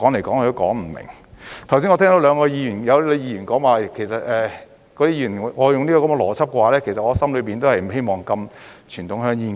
剛才我聽到兩位議員說我用這個邏輯的話，其實我的心裏也不希望禁傳統香煙。